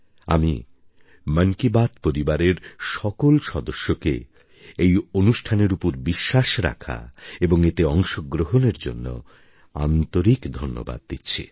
আমি মন কি বাত পরিবারের সকলে সদস্যকে এই অনুষ্ঠানের উপর বিশ্বাস রাখা এবং এতে অংশগ্রহণের জন্য আন্তরিক ধন্যবাদ দিচ্ছি